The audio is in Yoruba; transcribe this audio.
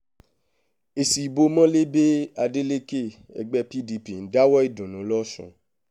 èsì ìbò mólébé adélèkè ẹgbẹ́ pdp ń dáwọ̀ọ́ ìdùnnú lọ́sùn